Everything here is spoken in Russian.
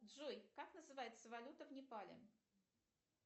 джой как называется валюта в непале